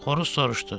Xoruz soruşdu.